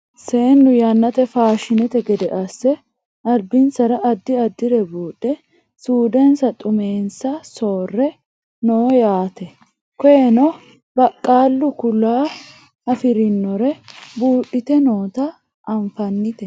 seennu yannate faashinete gede asse albinsara addi addire buudhe suudensanna xummensa soorre no yaate koyeeno baqqala kuula afirinore buudhite noota anfannite